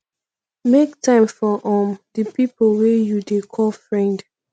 make time for um di pipo wey you dey call friend